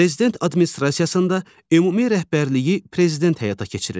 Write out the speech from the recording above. Prezident Administrasiyasında ümumi rəhbərliyi Prezident həyata keçirir.